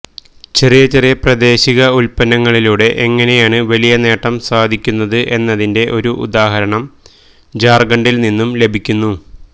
ചെറിയ ചെറിയ പ്രാദേശിക ഉത്പന്നങ്ങളിലൂടെ എങ്ങനെയാണ് വലിയ നേട്ടം സാധിക്കുന്നത് എന്നതിന്റെ ഒരു ഉദാഹരണം ഝാര്ഖണ്ഡില് നിന്നും ലഭിക്കുന്നു